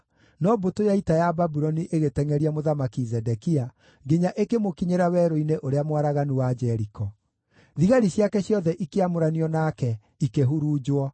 no mbũtũ ya ita ya Babuloni ĩgĩtengʼeria Mũthamaki Zedekia nginya ĩkĩmũkinyĩra werũ-inĩ ũrĩa mwaraganu wa Jeriko. Thigari ciake ciothe ikĩamũranio nake ikĩhurunjwo.